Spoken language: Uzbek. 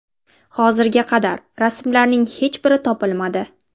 Hozirga qadar rasmlarning hech biri topilmadi.